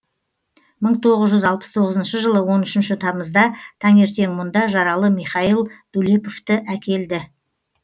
мың тоғыз жүз алпыс тоғызыншы жылы он үшінші тамызда таңертең мұнда жаралы михаил дулеповті әкелді